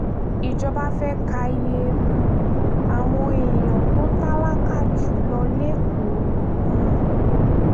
ìjọba fẹ́ẹ́ ka iye um àwọn èèyàn tó tálákà jù lọ lékòó um